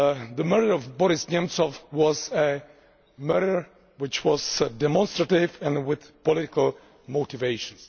the murder of Boris Nemtsov was a murder which was demonstrative and with political motivations'.